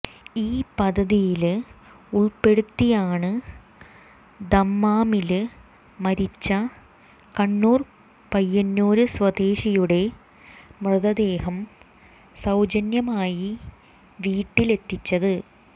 ഈ പദ്ധതിയില് ഉള്പ്പെടുത്തിയാണ് ദമ്മാമില് മരിച്ച കണ്ണൂര് പയ്യന്നൂര് സ്വദേശിയുടെ മൃതദേഹം സൌജന്യമായി വീട്ടില് എത്തിച്ചത്